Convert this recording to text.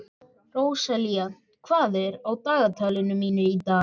Róselía, hvað er á dagatalinu mínu í dag?